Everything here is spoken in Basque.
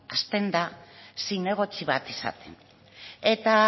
hasten da zinegotzi bat izaten eta